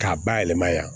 K'a bayɛlɛma yan